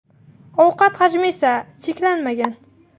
Ovqat hajmi esa cheklanmagan.